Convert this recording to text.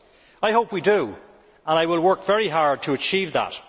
I hope we do, and I will work very hard to achieve that.